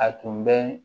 A tun bɛ